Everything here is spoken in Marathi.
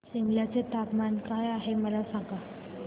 सिमला चे तापमान काय आहे मला सांगा